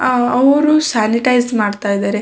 ಅಹ್ ಅವರು ಸ್ಯಾನಿಟೈಸ್ ಮಾಡ್ತಾ ಇದ್ದಾರೆ.